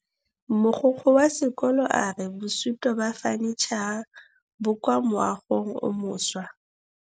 Mogokgo wa sekolo a re bosutô ba fanitšhara bo kwa moagong o mošwa.